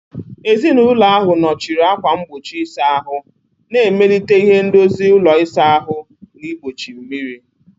Ezinụlọ ahụ nọchiri ákwà mgbochi ịsa ahụ, na-emelite ihe ndozi ụlọ ịsa ahụ na igbochi mmiri.